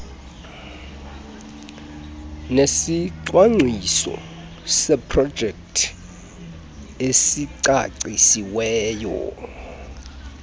nesicwangciso seprojekthi esicacisiweyo